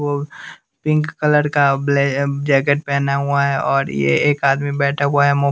वो pink colour का black jacket पहना हुआ है और ये एक आदमी बैठा हुआ है मु--